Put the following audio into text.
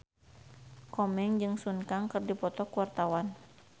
Komeng jeung Sun Kang keur dipoto ku wartawan